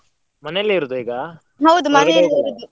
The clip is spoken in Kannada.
ಮನೇಲೆ ಇರುದ ಈಗ?